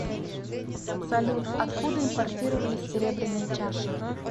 салют откуда импортировались серебряные чаши